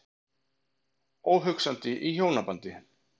Óhugsandi í hjónabandi.